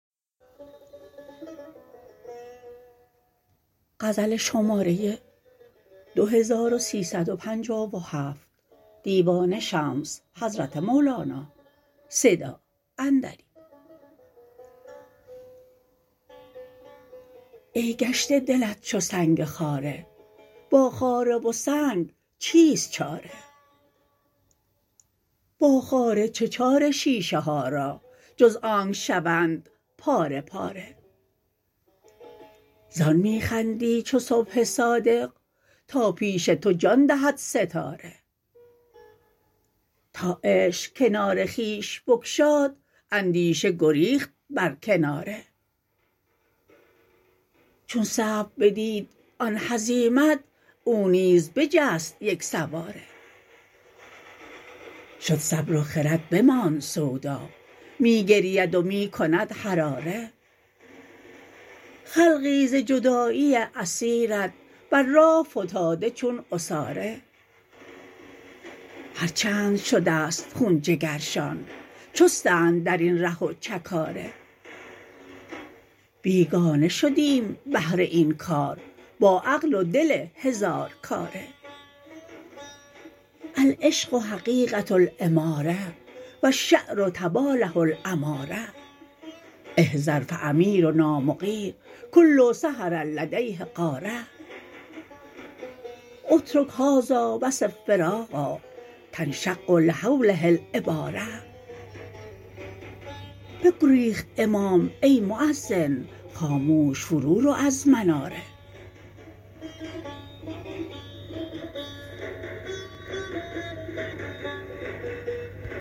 ای گشته دلت چو سنگ خاره با خاره و سنگ چیست چاره با خاره چه چاره شیشه ها را جز آنک شوند پاره پاره زان می خندی چو صبح صادق تا پیش تو جان دهد ستاره تا عشق کنار خویش بگشاد اندیشه گریخت بر کناره چون صبر بدید آن هزیمت او نیز بجست یک سواره شد صبر و خرد بماند سودا می گرید و می کند حراره خلقی ز جدایی عصیرت بر راه فتاده چون عصاره هر چند شده ست خون جگرشان چستند در این ره و چه کاره بیگانه شدیم بهر این کار با عقل و دل هزارکاره العشق حقیقه الاماره و الشعر طباله الاماره احذر فامیرنا مغیر کل سحر لدیه غاره اترک هذا وصف فراقا تنشق لهوله العباره بگریخت امام ای مؤذن خاموش فرورو از مناره